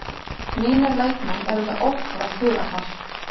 Mínir leikmenn eru með ótrúlegt hugarfar